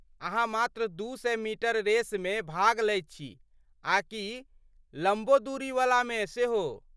अहाँ मात्र दू सए मीटर रेसमे भाग लैत छी आ कि लम्बो दूरी वलामे सेहो?